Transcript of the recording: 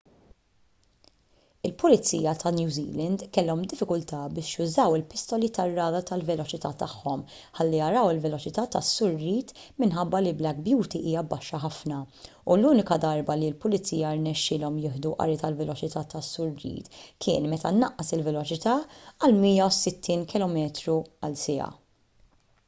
il-pulizija ta' new zealand kellhom diffikultà biex jużaw il-pistoli tar-radar tal-veloċità tagħhom ħalli jaraw il-veloċità tas-sur reid minħabba li black beauty hija baxxa ħafna u l-unika darba li l-pulizija rnexxielhom jieħdu qari tal-veloċità tas-sur reid kien meta naqqas il-veloċità għal 160km/siegħa